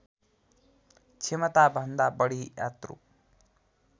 क्षमताभन्दा बढी यात्रु